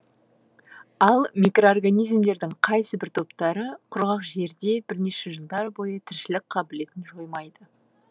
ал микроорганизмдердің кайсыбір топтары құрғақ жерде бірнеше жылдар бойы тіршілік қабілетін жоймайды